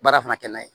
Baara fana kɛ n'a ye